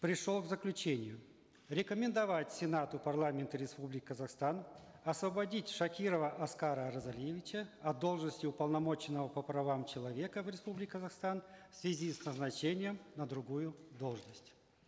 пришел к заключению рекомендовать сенату парламента республики казахстан освободить шакирова аскара оразалиевича от должности уполномоченного по правам человека в республике казахстан в связи с назначением на другую должность